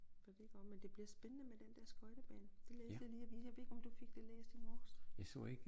Så det godt men det bliver spændende med den dér skøjtebane det læste jeg lige jeg ved ikke om du fik det læst i morges